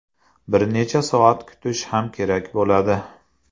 Bir necha soat kutish ham kerak bo‘ladi.